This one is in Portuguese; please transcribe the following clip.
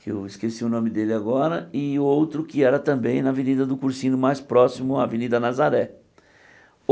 que eu esqueci o nome dele agora, e o outro que era também na Avenida do Cursinho, mais próximo à Avenida Nazaré.